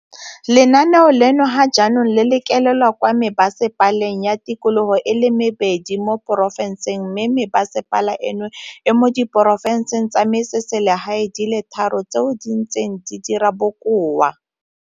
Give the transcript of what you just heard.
Pegelo eno gape e utolotse gore porofense ya Kapa Bophirima, Mpumalanga, Gauteng, Kapa Botlhaba, Kapa Bokone mmogo le Bokone Bophirima di tsentse tirisong sentle lenaane leno mo dingwageng tse di fetileng.